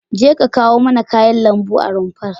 Jeka kawo mana kayan lambu a rumfar.